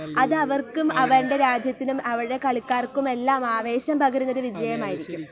അതവർക്കും അവരുടെ രാജ്യത്തിനും അവരുടെ കളിക്കാർക്കുമെല്ലാം ആവേശം പകരുന്നൊരു വിജയമായിരിക്കും.